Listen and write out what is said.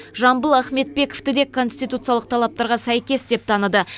жамбыл ахметбековтіде конституциялық талаптарға сәйкес деп таныды